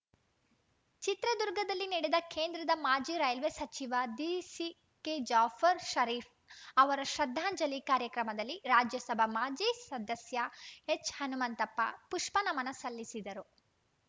ಚಿತ್ರದುರ್ಗದಲ್ಲಿ ನಡೆದ ಕೇಂದ್ರದ ಮಾಜಿ ರೈಲ್ವೆ ಸಚಿವ ದಿಸಿಕೆಜಾಫರ್‌ ಷರೀಫ್‌ ಅವರ ಶ್ರದ್ಧಾಂಜಲಿ ಕಾರ್ಯಕ್ರಮದಲ್ಲಿ ರಾಜ್ಯಸಭಾ ಮಾಜಿ ಸದಸ್ಯ ಎಚ್‌ಹನುಮಂತಪ್ಪ ಪುಷ್ಪನಮನ ಸಲ್ಲಿಸಿದರು